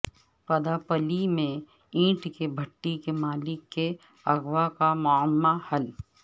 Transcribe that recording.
پداپلی میں اینٹ کی بھٹی کے مالک کے اغوا کا معمہ حل